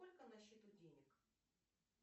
сколько на счету денег